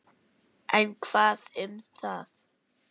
En hvað um það